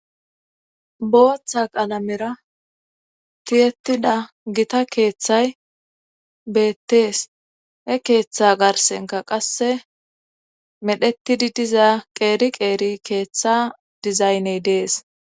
booththa qalamera tiyetida gita keeththay beettees he keeththa garsenka qasse medhetidi diza qeeri qeeri keeththa dizayney dees